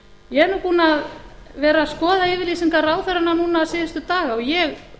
ég er nú búin að vera að skoða yfirlýsingar ráðherranna núna síðustu daga og ég